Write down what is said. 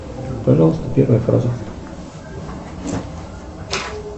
пожалуйста первая фраза